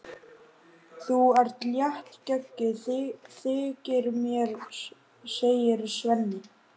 Þú ert léttgeggjuð, þykir mér, segir Svenni.